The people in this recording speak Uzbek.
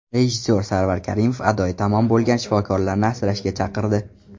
Rejissor Sarvar Karimov adoyi tamom bo‘lgan shifokorlarni asrashga chaqirdi.